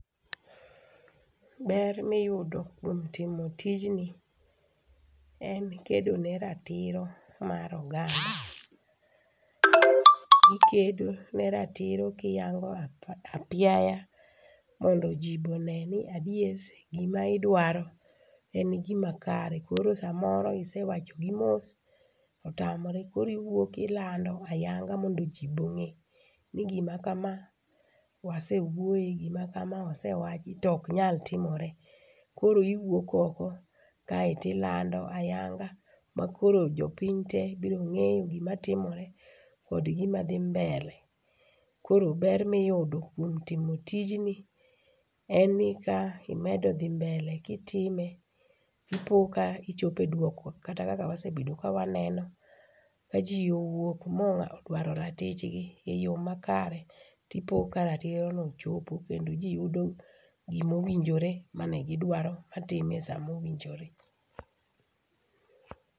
Ber ma iyudo kuom timo tijni en kedo ne ratiro mar oganda. Ikedo ne ratiro kiyango apiaya mondo ji be one ni adier, gima idwaro en gima kare. Koro samoro isewachogi mos, to otamore koro iwuok ilando ayanga mondo ji be ong'e ni gima kama, wase wuoye, gima kama ose wachi to ok nyal timore. Koro iwuok oko kae to ilando ayanga makoro jopiny te biro ng'eyo gima timore kod gima dhi mbele. Koro ber miyudo kuom timo tijni en ni ka imedo dhi mbele kitime ipo ka ichopo e duoko kata kaka wasebet ka wanene, kaji owuok ma odwaro ratichgi eyoo makare to ipo ka ratirono ochopo kendo jiyudo gima owinjore mane gidwaro ,atime esa mowinjore.